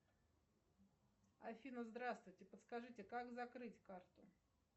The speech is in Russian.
афина здравствуйте подскажите как закрыть карту